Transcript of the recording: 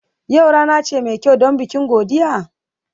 Yau rana ce mai kyau don bikin godiya?